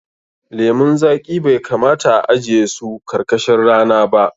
Lemun zaƙi bai kamata a ajiye su karkashin rana ba.